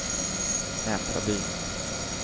Nättraby